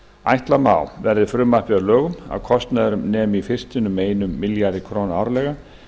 ætla má verði frumvarpið að lögum að kostnaður nemi í fyrstunni um einum milljarði króna árlega